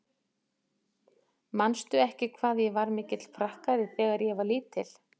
Manstu ekki hvað ég var mikill prakkari þegar ég var lítil?